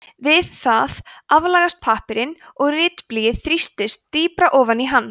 við það aflagast pappírinn og ritblýið þrýstist dýpra ofan í hann